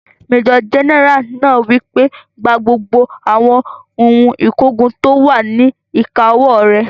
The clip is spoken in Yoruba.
Majọ gẹ́nẹ́rà náà wí pé, "Gba gbogbo àwọn ohun ìkógun tó wà ní ìkáwó rẹ̀!